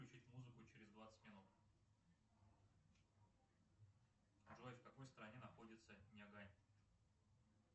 включить музыку через двадцать минут джой в какой стране находится нагай